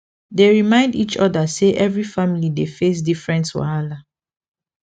dey remind each other say every family dey face different wahala